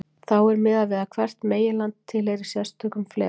Þá er miðað við að hvert meginland tilheyri sérstökum fleka.